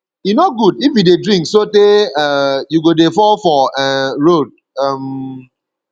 e no good if you dey drink sotee um you go dey fall for um road um